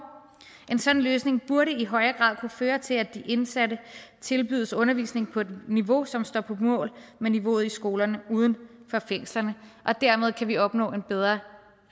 en sådan løsning burde i højere grad kunne føre til at de indsatte tilbydes undervisning på et niveau som står mål med niveauet i skolerne uden for fængslerne og dermed kan vi opnå en bedre